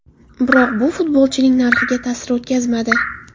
Biroq bu futbolchining narxiga ta’sir o‘tkazmadi.